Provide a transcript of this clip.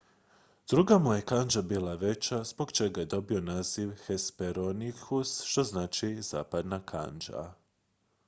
"druga mu je kandža bila veća zbog čega je dobio naziv hesperonychus što znači "zapadna kandža"".